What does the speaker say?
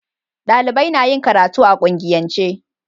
Dalibai na yin karatu a kungiyance